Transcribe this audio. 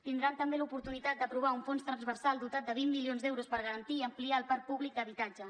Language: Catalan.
tindran també l’oportunitat d’aprovar un fons transversal dotat de vint milions d’euros per garantir i ampliar el parc públic d’habitatge